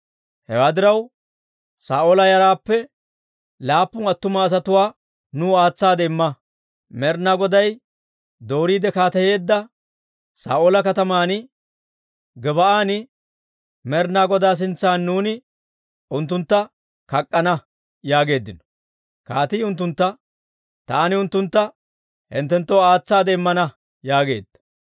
Hewaa diraw, Saa'oola yaraappe laappun attuma asatuwaa nuw aatsaade imma; Med'inaa Goday dooriide kaateyeedda Saa'oola kataman Gib"an Med'inaa Godaa sintsan nuuni unttuntta kak'k'ana» yaageeddino. Kaatii unttuntta, «Taani unttuntta hinttenttoo aatsaade immana» yaageedda.